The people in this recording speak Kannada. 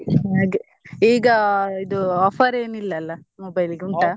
ಹಾಗೆ ಈಗಾ ಇದು offer ಏನಿಲ್ಲಾ ಅಲ್ಲಾ mobile ಗೆ ಉಂಟಾ?